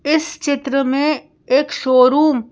इस चित्र में एक शोरूम --